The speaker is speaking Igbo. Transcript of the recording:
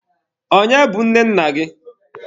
Onye bụ nne nna gị?